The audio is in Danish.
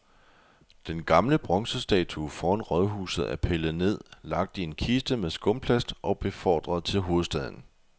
Den gamle bronzestatue foran rådhuset er pillet ned, lagt i en kiste med skumplast og befordret til hovedstaden.